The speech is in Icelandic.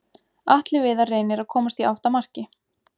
Atli Viðar reynir að komast í átt að marki.